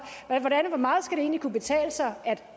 hvor meget skal det egentlig kunne betale sig at